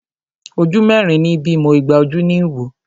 Ojú mẹ́rin ní bímọ, igba ojú ní wò.